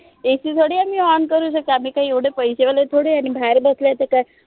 AC थोडी आम्ही ON करू शकतो. आम्ही काय एवढे पैसे वाले थोडी आहे आणि बाहेर बसले आहे ते काय?